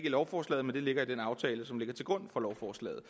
i lovforslaget men det ligger i den aftale som ligger til grund for lovforslaget